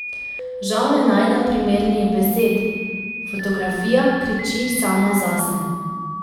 Žal ne najdem primernih besed, fotografija kriči sama zase.